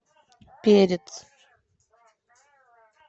перец